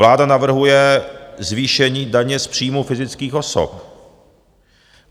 Vláda navrhuje zvýšení daně z příjmů fyzických osob.